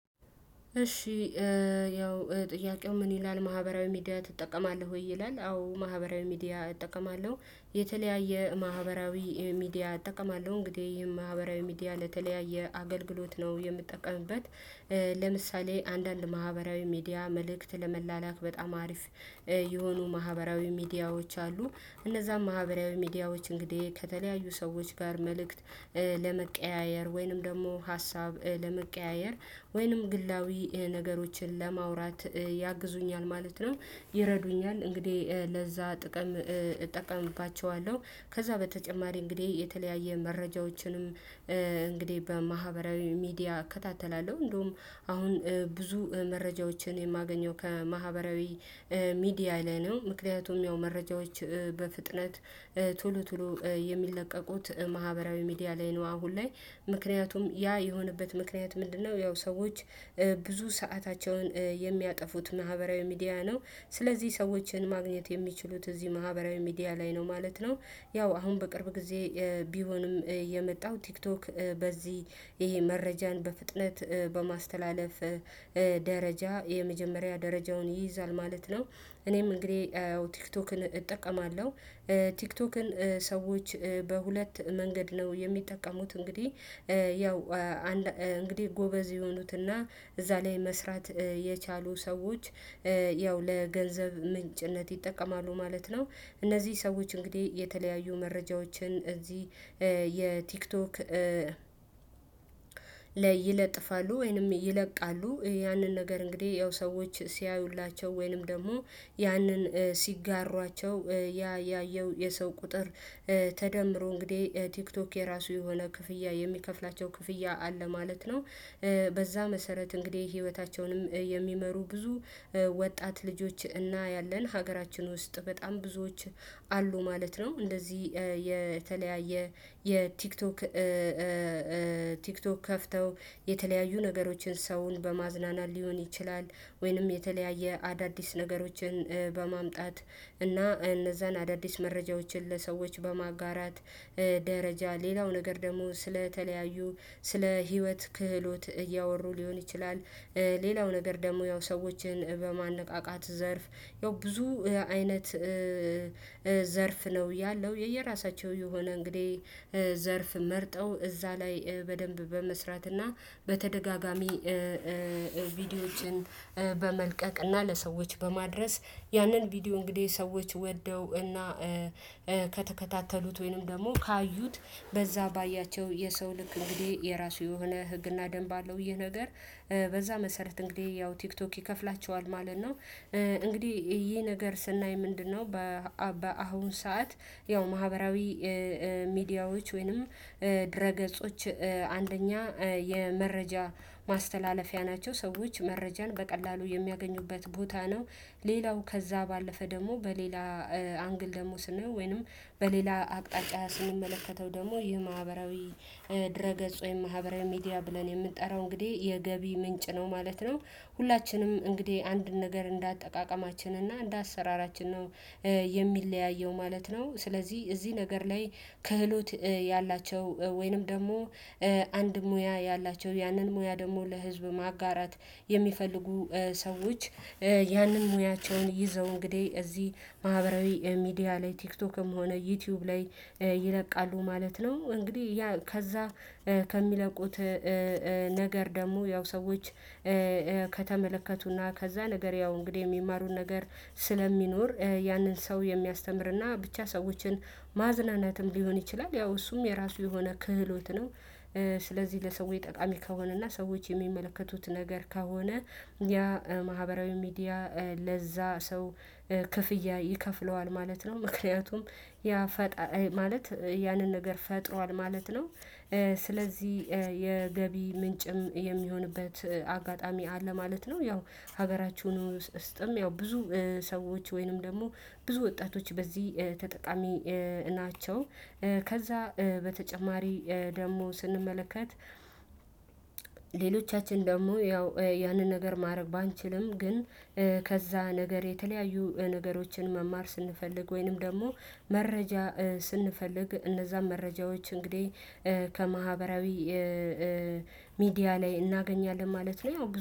እሺ ያው ጥያቄው ምን ይላል ማህበራዊ ሚዲያ ትጠቀማለህ ወይ ይላል? አዎ ማህበራዊ ሚዲያ እጠቀማለሁ። የተለያየ ማህበራዊ ሚዲያ እጠቀማለሁ እንግዲህ ይሄን ማህበራዊ ሚዲያ ለተለያየ አገልግሎት ነው የምጠቀምበት። ለምሳሌ አንዳንድ ማህበራዊ ሚዲያ መልእክት ለመላላክ በጣም አሪፍ የሆኑ ማህበራዊ ሚዲያዎች አሉ። እነዛም ማህበራዊ ሚዲያዎች እንግዲህ ከተለያዩ ሰዎች ጋር መልእክት ለመቀያየር ወይንም ደግሞ ሀሳብ ለመቀያየር ወይንም ግላዊ ነገሮችን ለማውራት ያግዙኛል ማለት ነው። ይረዱኛል እንግዲህ ለዛ ጥቅም እጠቀምባቸዋለሁ ከዛ በተጨማሪ እንግዲህ የተለያየ መረጃዎችንም እንግዲህ በማህበራዊ ሚዲያ እከታተላለሁ። እንደውም አሁን ብዙ መረጃዎችን የማገኘው ከማህበራዊ ሚዲያ ላይ ነው። ምክንያቱም ያው መረጃዎች በፍጥነት ቶሎ ቶሎ የሚለቀቁት ማህበራዊ ሚዲያ ላይ ነው። አሁን ላይ ምክንያቱም ያ የሆነበት ምክንያት ምንድነው? ያው ሰዎች ብዙ ሰአታቸውን የሚያጠፉት ማህበራዊ ሚዲያ ነው ስለዚህ ሰዎችን ማግኘት የሚችሉት እዚህ ማህበራዊ ሚዲያ ላይ ነው ማለት ነው። ያው አሁን በቅርብ ጊዜ ቢሆንም የመጣው ቲክቶክ በዚህ ይሄ መረጃን በፍጥነት በማስተላለፍ ደረጃ የመጀመሪያ ደረጃውን ይይዛል ማለት ነው እኔም እንግዲህ ቲክቶክን እጠቀማለሁ። ቲክቶክን ሰዎች በሁለት መንገድ ነው የሚጠቀሙት እንግዲህ ያው እንግዲህ ጎበዝ የሆኑትና እዛ ላይ መስራት የቻሉ ሰዎች ያው ለገንዘብ ምንጭነት ይጠቀማሉ ማለት ነው። እነዚህ ሰዎች እንግዲህ የተለያዩ መረጃዎችን እዚህ የቲክቶክ ላይ ይለጥፋሉ ወይንም ይለቃሉ ያንን ነገር እንግዲህ ያው ሰዎች ሲያዩላቸው ወይንም ደግሞ ያንን ሲጋሯቸው ያ ያየው የሰው ቁጥር ተደምሮ እንግዲህ ቲክቶክ የራሱ የሆነ ክፍያ የሚከፍላቸው ክፍያ አለ ማለት ነው። በዛ መሰረት እንግዲህ ህይወታቸውንም የሚመሩ ብዙ ወጣት ልጆች እናያለን ሀገራችን ውስጥ በጣም ብዙዎች አሉ ማለት ነው። እንደዚህ የተለያየ የቲክቶክ ቲክቶክ ከፍተው የተለያዩ ነገሮችን ሰውን በማዝናናት ሊሆን ይችላል። ወይንም የተለያየ አዳዲስ ነገሮችን በማምጣት እና እነዛን አዳዲስ መረጃዎችን ለሰዎች በማጋራት ደረጃ ሌላው ነገር ደግሞ ስለተለያዩ ስለ ህይወት ክህሎት እያወሩ ሊሆን ይችላል። ሌላው ነገር ደግሞ ያው ሰዎችን በማነቃቃት ዘርፍ ያው ብዙ አይነት ዘርፍ ነው ያለው። የየራሳቸው የሆነ እንግዲህ ዘርፍ መርጠው እዛ ላይ በደንብ በመስራትና እና በተደጋጋሚ ቪዲዮዎችን በመልቀቅ እና ለሰዎች በማድረስ ያንን ቪዲዮ እንግዲህ ሰዎች ወደው እና ከተከታተሉት ወይንም ደግሞ ካዩት በዛ ባያቸው የሰው ልክ እንግዲህ የራሱ የሆነ ህግና ደንብ አለው። ይሄ ነገር በዛ መሰረት እንግዲህ ያው ቲክቶክ ይከፍላቸዋል ማለት ነው። እንግዲህ ይሄ ነገር ስናይ ምንድነው? በአሁን ሰዓት ያው ማህበራዊ ሚዲያዎች ወይንም ድረ ገጾች አንደኛ የመረጃ ማስተላለፊያ ናቸው ሰዎች መረጃን በቀላሉ የሚያገኙበት ቦታ ነው። ሌላው ከዛ ባለፈ ደግሞ በሌላ አንግል ደግሞ ስንሄው ወይንም በሌላ አቅጣጫ ስንመለከተው ደግሞ ይህ ማህበራዊ ድረ ገጽ ወይም ማህበራዊ ሚዲያ ብለን የምንጠራው እንግዲህ የገቢ ምንጭ ነው ማለት ነው። ሁላችንም እንግዲህ አንድን ነገር እንደ አጠቃቀማችን እና እንደ አሰራራችን ነው የሚለያየው ማለት ነው። ስለዚህ እዚህ ነገር ላይ ክህሎት ያላቸው ወይንም ደግሞ አንድ ሙያ ያላቸው ያንን ሙያ ደግሞ ለህዝብ ማጋራት የሚፈልጉ ሰዎች ያንን ሙያቸውን ይዘው እንግዲህ እዚህ ማህበራዊ ሚዲያ ላይ ቲክቶክም ሆነ ዩቲዩብ ላይ ይለቃሉ ማለት ነው። እንግዲህ ያ ከዛ ከሚለቁት ነገር ደግሞ ያው ሰዎች ከተመለከቱና ከዛ ነገር ያው እንግዲህ የሚማሩን ነገር ስለሚኖር ያንን ሰው የሚያስተምርና ብቻ ሰዎችን ማዝናናትም ሊሆን ይችላል ያው እሱም የራሱ የሆነ ክህሎት ነው። ስለዚህ ለሰዎች ጠቃሚ ከሆነና ሰዎች የሚመለከቱት ነገር ከሆነ ያ ማህበራዊ ሚዲያ ለዛ ሰው ክፍያ ይከፍለዋል ማለት ነው። ምክንያቱም ያ ፈጣሪ ማለት ያንን ነገር ፈጥሯል ማለት ነው። ስለዚህ የገቢ ምንጭም የሚሆንበት አጋጣሚ አለ ማለት ነው። ያው ሀገራችሁን ውስጥም ያው ብዙ ሰዎች ወይንም ደግሞ ብዙ ወጣቶች በዚህ ተጠቃሚ ናቸው። ከዛ በተጨማሪ ደግሞ ስንመለከት ሌሎቻችን ደግሞ ያው ያንን ነገር ማድረግ ባንችልም ግን ከዛ ነገር የተለያዩ ነገሮችን መማር ስንፈልግ ወይንም ደግሞ መረጃ ስንፈልግ እነዛን መረጃዎች እንግዲህ ከማህበራዊ ሚዲያ ላይ እናገኛለን ማለት ነው። ያው